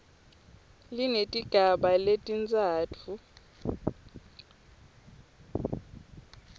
linetigaba letintsatfu a